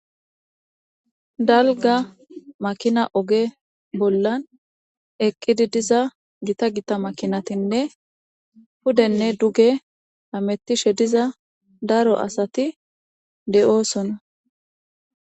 dalga makina oge bollan eqqidi diza gita gita makinatinne pudenne duge hamettishe diza daro asati de7oosona